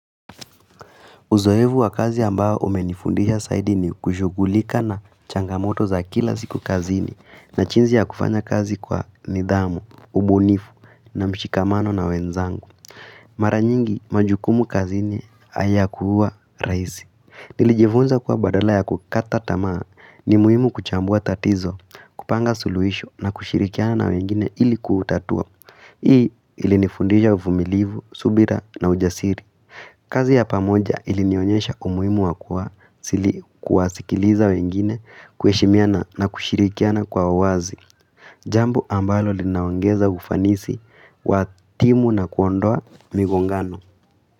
Uzoevu wa kazi ambao umenifundisha zaidi ni kushughulika na changamoto za kila siku kazini na jinzi ya kufanya kazi kwa nidhamu, ubunifu na mshikamano na wenzangu. Mara nyingi majukumu kazini ayakuwa raisi. Nilijifunza kuwa badala ya kukata tamaa ni muhimu kuchambua tatizo, kupanga suluhisho na kushirikiana na wengine ilikuutatua. Hii ilinifundisha uvumilivu, subira na ujasiri. Kazi ya pamoja ilinionyesha umuhimu wakua sili kuwasikiliza wengine kuheshimiana na kushirikiana kwa wazi. Jambo ambalo linaongeza ufanisi wa timu na kuondoa migongano.